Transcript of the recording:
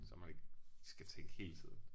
Så man ikke skal tænke hele tiden